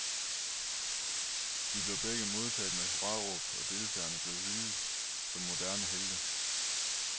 De blev begge modtaget med hurraråb, og deltagerne blev hyldet som moderne helte.